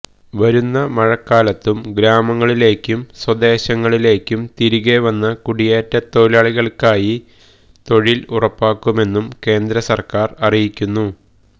വരുന്ന മഴക്കാലത്തും ഗ്രാമങ്ങളിലേക്കും സ്വദേശങ്ങളിലേക്കും തിരികെ വന്ന കുടിയേറ്റത്തൊഴിലാളികൾക്കായി തൊഴിൽ ഉറപ്പാക്കുമെന്നും കേന്ദ്രസർക്കാർ അറിയിക്കുന്നു